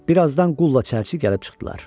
Bir azdan qulla çərçi gəlib çıxdılar.